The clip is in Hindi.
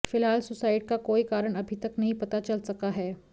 फिलहाल सुसाइड का कोई कारण अभी तक नहीं पता चल सका है